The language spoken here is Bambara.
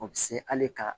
O bɛ se hali ka